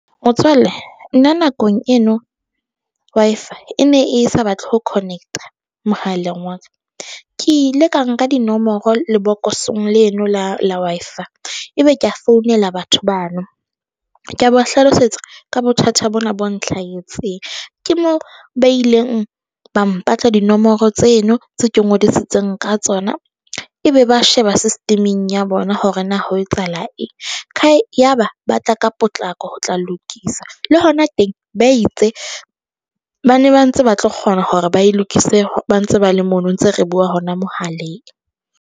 Motswalle nna nakong eno Wi-Fi e ne e sa batle ho connect-a mohaleng wa ka. Ke ile ka nka dinomoro lebokoseng leno la la Wi-Fi ebe ke a founela batho bano. Ka ba hlalosetsa ka bothata bona bo nhlahetseng, ke moo ba ileng ba mpatla dinomoro tseno tse ke ngodisitseng ka tsona, e be ba sheba system-eng ya bona hore na ho etsahala eng. Ya ba ba tla ka potlako ho tla lokisa le hona teng. Ba itse ba ne ba ntse ba tlo kgona hore ba e lokise ba ntse ba le mono ntse re bua hona mohaleng.